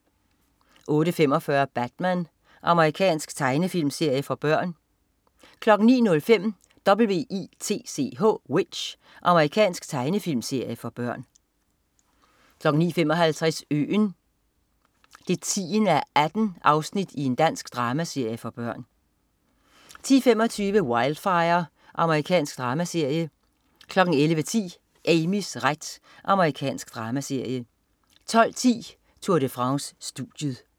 08.45 Batman. Amerikansk tegnefilmserie for børn 09.05 W.i.t.c.h. Amerikansk tegnefilmserie for børn 09.55 Øen 10:18. Dansk dramaserie for børn 10.25 Wildfire. Amerikansk dramaserie 11.10 Amys ret. Amerikansk dramaserie 12.10 Tour de France. Studiet